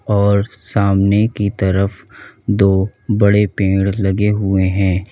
और सामने की तरफ दो बड़े पेड़ लगे हुए हैं।